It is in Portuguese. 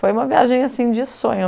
Foi uma viagem assim de sonho.